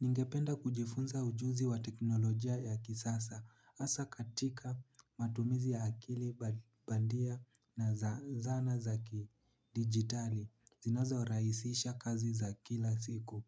Ningependa kujifunza ujuzi wa teknolojia ya kisasa hasa katika matumizi ya akili bandia na zana zaki digitali zinazo rahisisha kazi za kila siku.